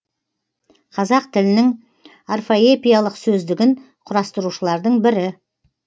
қазақ тілінің орфоэпиялық сөздігін құрастырушылардың бірі